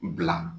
Bila